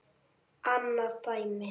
Annað dæmi